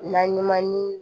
Naɲuman ni